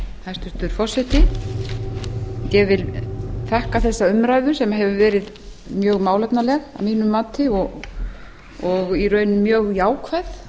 hæstvirtur forseti ég vil þakka þessa umræðu sem hefur verið mjög málefnaleg að mínu mati og í raun mjög jákvæð